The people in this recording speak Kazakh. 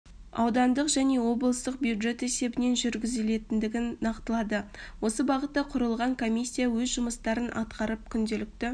аудандық және облыстық бюджет есебінен жүргізілетіндігін нақтылады осы бағытта құрылған комиссия өз жұмыстарын атқарып күнделікті